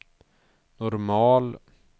normal